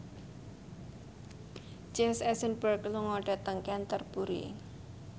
Jesse Eisenberg lunga dhateng Canterbury